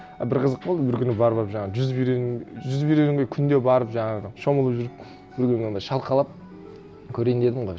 і бір қызық болды бір күні барып алып жаңа жүзіп жүзіп үйренуге күнде барып жаңағы шомылып жүріп бір күні анандай шалқалап көрейін дедім ғой